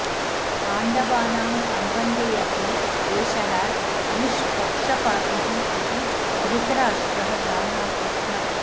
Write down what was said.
पाण्डवानां सम्बन्धेऽपि एषः निष्पक्षपातिः इति धृतराष्ट्रः जानाति स्म